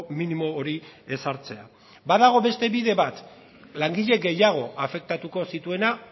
minimo hori ezartzea badago beste bide bat langile gehiago afektatuko zituena